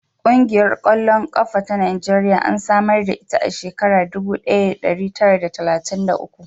Ƙungiyar ƙwallon ƙafa ta Najeriya an samar da ita a shekarar dubu ɗaya da ɗari tara d talatin da uku.